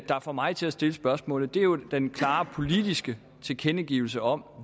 der får mig til at stille spørgsmålet er jo den klare politiske tilkendegivelse om